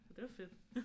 Og det var fedt